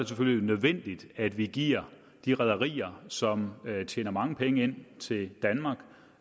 selvfølgelig nødvendigt at vi giver de rederier som tjener mange penge ind til danmark